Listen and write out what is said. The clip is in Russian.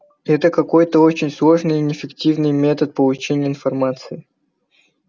это какой-то очень сложный и неэффективный метод получения информации